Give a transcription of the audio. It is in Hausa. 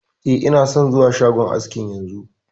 E, ina son zuwa shagon askin yanzu